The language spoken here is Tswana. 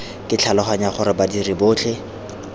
ke tlhaloganya gore badiri botlhe